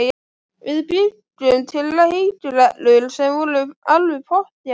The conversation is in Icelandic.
Við bjuggum til leikreglur sem voru alveg pottþéttar.